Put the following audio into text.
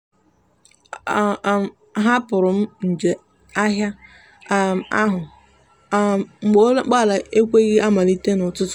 a um hapụrụ m njem ahịa um ahụ um mgbe ụgbọala m ekweghị amalite n'ụtụtụ.